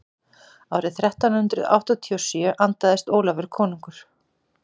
árið þrettán hundrað áttatíu og sjö andaðist ólafur konungur